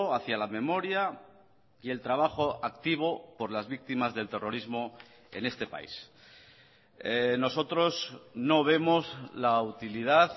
hacia la memoria y el trabajo activo por las víctimas del terrorismo en este país nosotros no vemos la utilidad